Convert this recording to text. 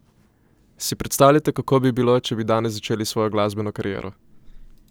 Si predstavljate, kako bi bilo, če bi danes začeli s svojo glasbeno kariero?